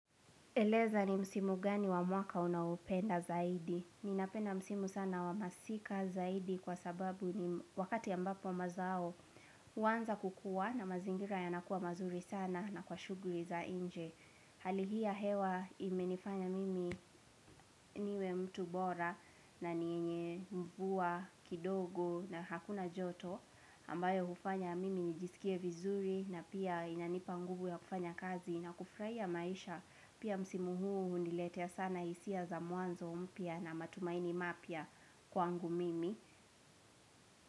Eleza ni msimu gani wa mwaka unaupenda zaidi? Ninapenda msimu sana wa masika zaidi kwa sababu ni wakati ambapo mazao huanza kukua na mazingira yanakua mazuri sana na kwa shughuli za nje. Hali hii ya hewa imenifanya mimi niwe mtu bora na yenye mvua kidogo na hakuna joto ambayo hufanya mimi nijisikie vizuri na pia inanipa nguvu ya kufanya kazi na kufurahia maisha pia msimu huu huniletea sana hisia za mwanzo mpya na matumaini mapya kwangu mimi.